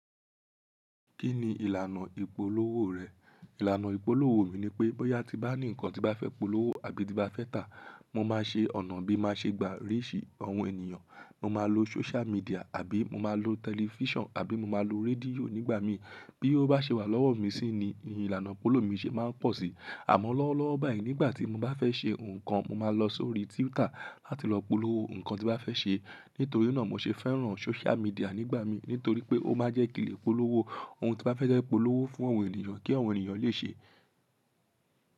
Kí ni ìlànà ìpolówó rẹ̀? Ìlànà ìpolówó mi ni pé, bóyá ti bá ní nǹkan tí bá fẹ́ polówó àbí ti bá fẹ́ tà, mo máa ṣe ọ̀nà bí mo ṣe gba oríṣi àwọn ènìyàn, mo máa lo social media àbí mo máa lo tẹlifíṣàn àbí mo máa lo rédíò nígbà mi. Bí ó bá ṣe wà lọ́wọ́ mi sí ni ìlànà ìpolówó mi ṣe máa ń pọ̀ sí. Àmọ́ lọ́wọ́lọ́wọ́ báyìí nígbà tí mo bá fẹ́ ṣe nǹkan, mo máa lọ sórí Twitter láti lọ polówó nǹkan tí bá fẹ́ ṣe. Nítorí náà mo ṣe fẹ́ràn social media nígbà mi, nítorí pé ó máa jẹ́ kinle polówó ohun tí bá fẹ́ jẹ polówó fún àwọn ènìyàn kí àwọn ènìyàn lè ṣe.